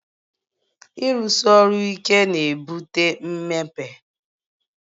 Ịrụsi ọrụ ike na-ebute mmepe